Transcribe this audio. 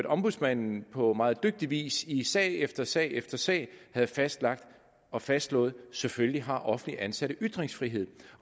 at ombudsmanden på meget dygtig vis i sag efter sag efter sag havde fastlagt og fastslået at selvfølgelig har offentligt ansatte ytringsfrihed